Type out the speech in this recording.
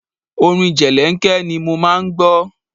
Orin jẹlẹ́ńkẹ́ ni mo máa ń gbọ́.